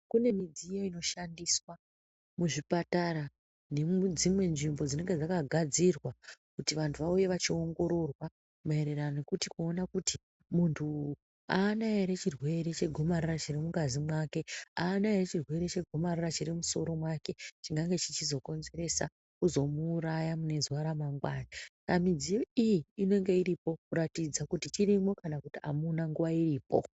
Kune midziyo inoshandiswa muzvipatara nemudzimwe nzvimbo dzinenge dzakagadzirwa kuti antu auye achiongororwa maererano nekuti kuona kuti muntu aana ere chirwere chegomarara chiri mungazi mwake. Aana ere chirwere chegomarara chiri mumusoro mwake chingange chizokonzeresa kuzomuuraya mune zuwa remangwani. Saka midziyo iyi inenge iripo kuratidza kuti chirimwo kana amuna nguwa iripo.